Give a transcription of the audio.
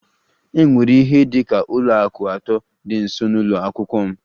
E nwere ihe dị ka ụlọ akụ atọ dị nso n'ụlọ akwụkwọ m